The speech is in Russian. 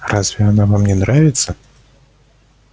разве она вам не нравится